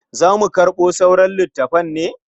Za mu karɓo sauran littafan ne?